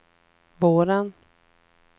våren